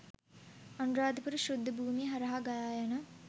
අනුරාධපුර ශුද්ධ භූමිය හරහා ගලායන